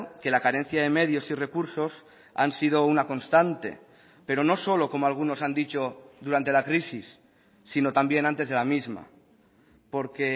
que la carencia de medios y recursos han sido una constante pero no solo como algunos han dicho durante la crisis sino también antes de la misma porque